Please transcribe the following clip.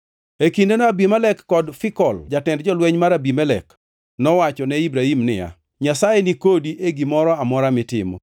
E kindeno Abimelek kod Fikol jatend jolweny mar Abimelek nowacho ne Ibrahim niya, “Nyasaye ni kodi e gimoro amora mitimo.